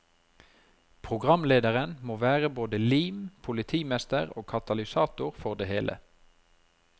Programlederen må være både lim, politimester og katalysator for det hele.